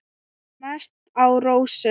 Mest á rósum.